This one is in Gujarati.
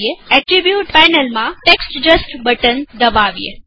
એટ્રીબુટ પેનલમાં ટેક્સ્ટ જસ્ટ બટન દબાવીએ